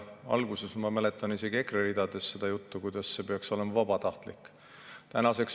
Alguses, ma mäletan, oli isegi EKRE ridadest kuulda seda juttu, et see peaks olema vabatahtlik.